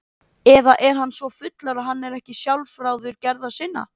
Eða er hann svo fullur að hann er ekki sjálfráður gerða sinna?